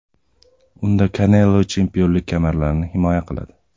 Unda Kanelo chempionlik kamarlarini himoya qiladi.